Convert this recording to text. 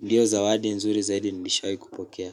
ndiyo zawadi nzuri zaidi nilishawahi kupokea.